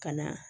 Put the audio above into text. Ka na